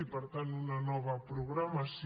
i per tant una nova programació